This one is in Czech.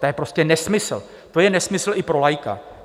To je prostě nesmysl, to je nesmysl i pro laika.